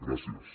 gràcies